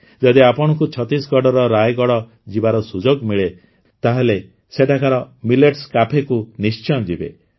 ଯଦି ଆପଣଙ୍କୁ ଛତିଶଗଡ଼ର ରାୟଗଡ଼ ଯିବାର ସୁଯୋଗ ମିଳେ ତାହେଲେ ସେଠାକାର ମିଲେଟ୍ସ କ୍ୟାଫେକୁ ନିଶ୍ଚୟ ଯିବେ